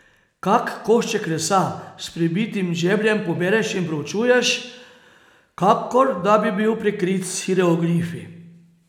Kak košček lesa s pribitim žebljem pobereš in preučuješ, kakor da bi bil prekrit s hieroglifi.